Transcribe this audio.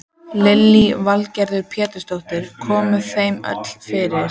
Lillý Valgerður Pétursdóttir: Komið þeim öllum fyrir?